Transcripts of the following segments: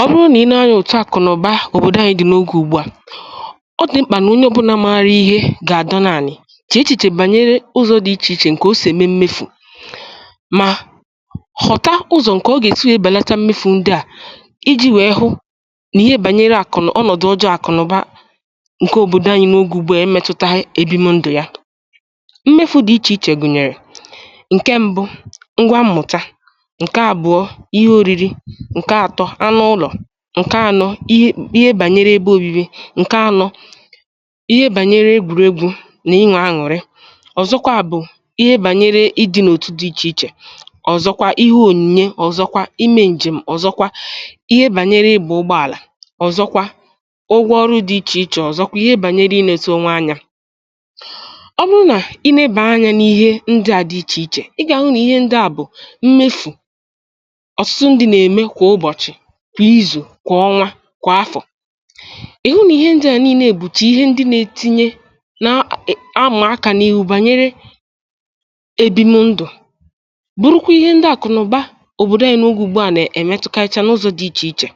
Ọ bụrụ nà ị lee anyȧ òtù àkụ̀nụ̀ba òbòdò anyị dị n’ogè ùgbù à, ọ dị mkpà nà onye ọ̀bụlà màȧrụ̇ ihe gà-àdọ na anị̇ chee echìchè bànyere ụzọ̇ dị̀ ichè ichè ǹkè o sì ème mmefù, mà họ̀ta ụzọ̀ ǹkè ọ gà-esi wee bèlata mmefù ndị à iji̇ nwèe hụ nà ihe bànyere àkụ̀nụ̀ ọnọ̀dụ̀ ọjọọ̇ àkụ̀nụ̀ba ǹkè òbòdò anyị̇ n’ogè ùgbù à emetụtaghị ebi m ndụ̀ ya. Mmefù dị̀ ichè ichè gụ̀nyèrè: ǹkè mbụ̇, ngwa mmụ̀ta; ǹkè àbụọ̇, ihe oriri; nke atọ, ànụ ụlọ̀; ǹkè anọ̇, ihe bànyere ebe ȯbi̇bi̇; ǹkè anọ̇, ihe bànyere egwùregwu̇ nà inwè aṅụ̀rị. Ọ̀zọkwa bụ̀ ihe bànyere ịdị̇ n’òtù dị ichè ichè, ọ̀zọkwa ihe ònyìnye, ọ̀zọkwa imė ǹjèm, ọ̀zọkwa ihe bànyere ịgbȧ ụgbọàlà, ọ̀zọkwa ụgwọ ọrụ dị ichè ichè, ọ̀zọkwa ihe bànyere ị nete ònwe anya. Ọ bụrụ nà ị nebà anya n’ihe ndị à dị ichè ichè, ị gà-àhụ nà ihe ndị à bụ̀ mmefụ̇ ọtụtụ ndị n’eme kwà ụbọchị, kwà izu, kwà ọnwa, kwà afọ̀; ị̀hụ nà ihe ǹdị à nii̇le bu chà ihe ndị nȧ-etinye n’amà akȧ n’ihu bànyere èbimụ̇ ndụ̀, bụrụkwa ihe ndị àkụ̀nụ̀ba òbòdò anyị̇ nà-ogè ùgbù à nà-èmetụkacha n’ụzọ̇ dị ichè ichè.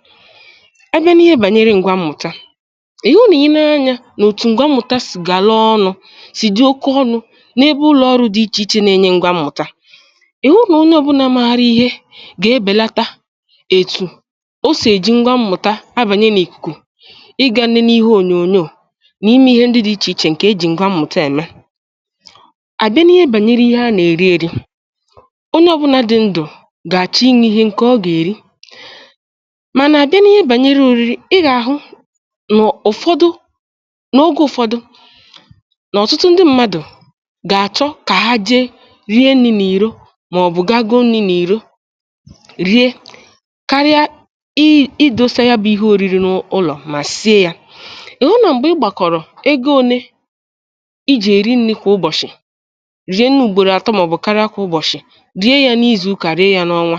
A bịa n’ihe bànyere ǹgwà mmụ̀ta, ị̀hụ nà ị nee anya n’òtù ǹgwà mmụ̀ta sì gàlaa ọnụ̇ sì dị oke ọnụ̇ n’ebe ụlọ̀ ọrụ̇ dị̀ ichè ichè nà-enye ǹgwà mmụ̀ta, ị̀hụ nà onye ọbụla mààrị ihe gà-ebèlata etu o sọ̀ èji ngwa mmụ̀ta abànye n’ìkùkù ịgȧ nani n’ihu ònyònyò n’ime ihe ndị dị̇ ichè ichè ǹkè ejì ngwa mmụ̀ta ème. À bịa n’ihe bànyere ihe a nà-èri, ėri̇ onye ọ̀bụnȧ dị̇ ndụ̀ gà-àchọ inwė ihe ǹkè ọ gà-èri, mànà àbịa n’ihe bànyere òriri, ị gà-àhụ n’ụ̀fọdụ n’ogė ụ̀fọdụ nà ọ̀tụtụ ndị ṁmȧdụ̀ gà-àchọ kà ha je rie nni̇ n’ìro màọbụ̀ gago nii̇ n’ìro rie karịa i dose ya bụ ihe òriri n’ụlọ̀ mà sie ya. Ị̀ hụ nà m̀gbè ịgbàkọ̀rọ̀ ego ole ijì èri nni kwà ụbọ̀chị̀, rie nni ùgbòrò atọ màọbụ̇ karịa kwà ụbọ̀chị̀, rie ya n’izù ụkà, rie ya n’ọnwa,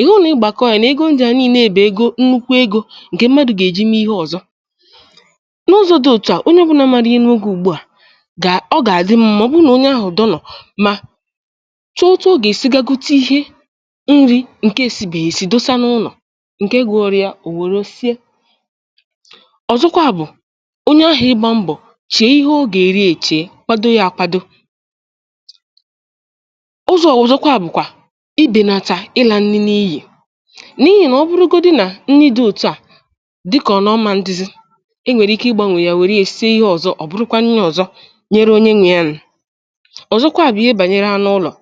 ị̀ hụ nà ịgbàkọ̀ ya nà ego ǹdị à nii̇nė bụ̀ ego nnukwu egȯ ǹkẹ̀ mmadụ̀ gà-èji mee ihe ọ̀zọ n’ụzọ̇ dị òtù à. Onye ọ bụla ma n’ime n’ogè ùgbù à gà, ọ gà-àdị m mà ọ̀ bụ nà onye ahụ̀ dọ́ nọ̀ mà chọọtụọ gà-èsigagote ihe nri ǹkè esi bè-èsi dose na ụlọ̀ nkè gùrù ya o were sie. Ọ̀zọ̀kwa bụ̀ onye ahụ̀ ịgbȧ mbọ̀ chee ịhe o gà-èri, èchèe kwado yȧ, àkwado ụzọ̇ ọ̀zọ̀kwa bụ̀ kwà ibènàtà ịlà ǹni n’iyì n’ihì mà ọ bụrụgodi nà nni dị òtù a dịkà ọ nà ọma, ǹdizi e nwèrè ike ịgbȧnwè yà wèrè ya èsie ihe ọ̀zọ, ọ̀ bụrụkwa n’ihì ọ̀zọ nyere onye nwe ya nụ̀. Ọ̀zọ̀kwa bụ̀ ihe bànyere ànụ ụlọ̀,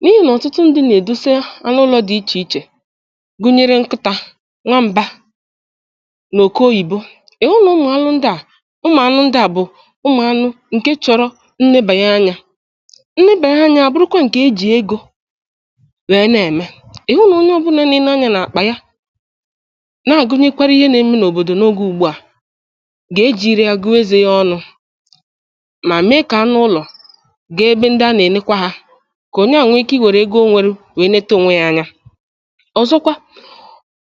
n’ihì nà ọ̀tụtụ ǹdị nà-èdosa ànụ ụlọ̇ dị ichè ichè gụnyere nkịta, nwamba, nà òkè oyìbo. Ị hụ nà ụmụ̀ anụ ǹdị a, ụmụ̀ anụ ǹdị a bụ̀ ụmụ̀ anụ ǹkẹ̀ chọ̀rọ̀ ǹnẹ bànyẹ anya, ǹnẹ bànyẹ anya àbụrụkwa ǹkẹ̀ e jì egȯ nwèe nà-ème. Ị hụ nà onye ọbụlà n’ime anya nà-àkpà ya na-agụnyekwara ihe nà-eme n’òbòdò n’ogė ùgbù a gà-ejìiri agụụ ezè ya ọnụ̇ mà mee kà anụ ụlọ̀ gà-ebe ǹdị a nà-enekwa ha kà onye ahụ wee ike iwèrè ego o nwèrè wèe neta ònwe ya anya. Ọ̀zọ̀kwa,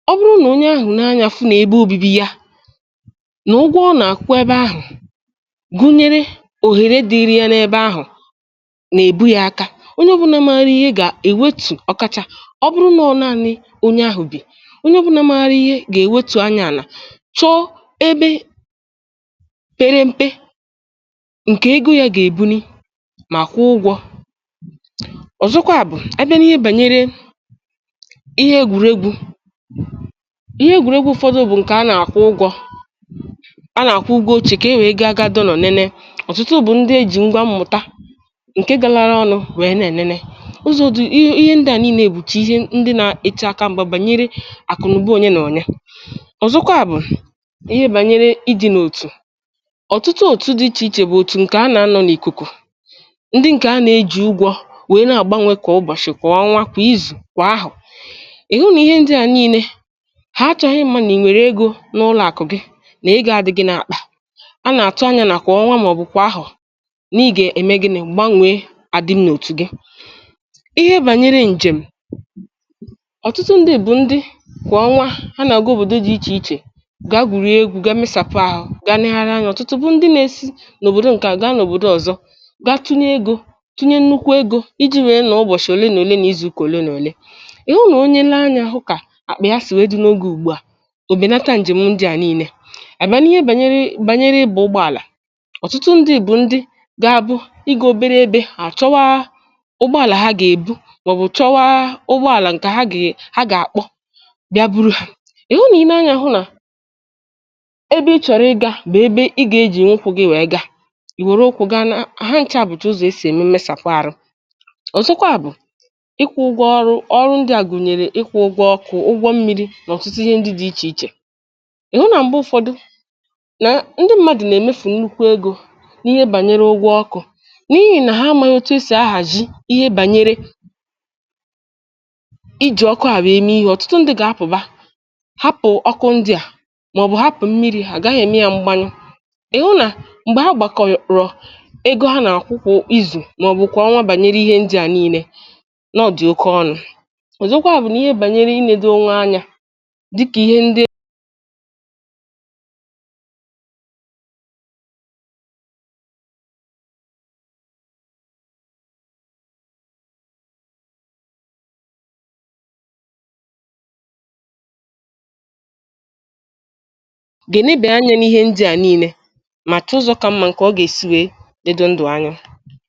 ọ bụrụ na onye ahụ̀ nee anya fụ nà ebe obibi ya na ụgwọ ọ nà-àkụkwa ebe ahụ̀ gụnyere òhèrè dịrị ya n’ebe ahụ̀ nà-èbu ya aka, onye ọ bụla mȧrị ihe gà-èwetu ọ̀kàchà ọ bụrụ nà ọ naanị onye ahụ̀ bì. Onye ọ bụla mȧrị ihe gà-ewetù anya àlà chọọ ebe pere m̀pe ǹkẹ̀ egȯ ya gà-èbu nì ma kwụọ ụgwọ̇. Ọ̀zọ̀kwa bụ̀ a bịa n’ihe bànyere ihe egwùregwu̇, ihe egwùregwu ụfọdụ bụ̀ ǹkẹ̀ a nà-àkwụ ụgwọ̇, a nà-àkwụ ụgwọ̇ oche kà e wèe gaa, gaa dọ nọ̀ nene. Ọ̀tụtụ bụ̀ ndị eji̇ ngwa m̀mụta ǹke galaara ọnụ wèe nèene. Ụzọ̀ dị ihe ǹdị à niine bùchà ihe ndị na-eche aka m̀gbẹ̀ bànyere àkụ̀nụ̀ba onye nà onye. Ọ̀zọ̀kwa bụ̀ ihe bànyere idi̇ nà òtù. Ọ̀tụtù òtù dị ichè ichè bụ̀ òtù ǹkẹ̀ a nà-anọ̇ n’ìkùkù, ndị ǹkẹ̀ a nà-eji̇ ụgwọ̇ wèe na-àgbanwè kwa ụbọ̀shị̀, kwa ọnwȧ, kwa izù, kwà ahụ̀. Ị hụ nà ihe ndị à niine ha achọghị ịma nà ì nwèrè egȯ n’ụlọ̀àkụ̀ gị nà-ego àdị gị nà-akpà a nà-atụ anyȧ nà kwà ọnwa màọbụ̀ kwà ahụ̀ n’ige ème gịnị, gbànwèe àdị nà òtù gị. Ihe bànyere ǹjèm, ọ̀tụtù ndị bụ̀ ndị kwà ọnwa ha nà-agụ òbòdo dị jì ichè ichè ga gwùrì egȯ gị msàpụ, àhụ ga legharị anya. Ọ̀tụtù bụ ndị nà-esi n’òbòdò ǹkẹ̀ a gaa nà òbòdò ọ̀zọ ga tunye egȯ, tunye nnukwu egȯ iji̇ nwèe nụọ ụbọ̀chị̀ òle na òle na izuukà òle na òle. Ị hụ nà onye lee anyȧ hụ ka akpa yá si wéé dị n’oge ugbu a, òbè nata ǹjèm ǹdị à nii̇nė. À bià n’ihe bànyere bànyere ịbȧ ụgbọ̇àlà, ọ̀tụtù ǹdị bụ̀ ndị ga-abụ i gȧ obėrė ebe à chọwa ụgbọ̇àlà, ha gà-èbu màọbụ̀ chọwa ụgbọ̇àlà ǹkẹ̀ ha gà-àkpọ bịa buru ha. Ị̀ hụ nà ɪ nee anya hụ nà ebe ɪ chọ̀rọ̀ ɪga bú ebe ɪ gà-ejì nwụ ụkwụ gị wèe ga, ì wèrè ụkwụ gaa ná ha ǹchà bùchà ụzọ̀ e si ème m̀mesàpụ arụ. Ọ̀zọ̀kwa bụ̀ ịkwụ̇ ụgwọ ọrụ. Ọrụ ǹdị a gùnyèrè ịkwụ̇ ụgwọ ọkụ̇, ụgwọ mmírí, na ọtụtù ihe ndị dị ichè ichè. Ịhụ nà m̀gbè ụfọdụ nà ndị m̀madụ̀ nà-èmefù nnukwu egȯ n’ihe bànyere ụgwọ ọkụ n’ihi nà ha mànyị otu e sì ahàzi ihe bànyere iji̇ ọkụ à wee eme ihe. Ọ̀tụtù ǹdị gà-apụ̀ba ha pụ̀ ọkụ ǹdị à màọbụ̇ hapụ̀ mmiri̇ ha, agaghị̇ eme yȧ m̀gbanyụ. Ịhụ ná m̀gbè ha gbàkọrọ ego ha nà-àkwụ kwọ izù màọbụ̇ kwà ọnwa bànyere ihe ǹdị à nii̇nė, nọ̀ ọ dị̀ oke ọnụ̇. Ọ̀zọ̀kwa bú n’ihe banyere iledo onwe ányá, dịka ihe ndị gènebè anya n’ihe ndị à niile mà chọọ ụzọ ka mmȧ ǹkè ọ gà-èsi wee dedo ndụ̀ anya.